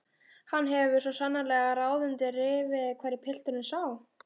Hann hefur svo sannarlega ráð undir rifi hverju pilturinn sá!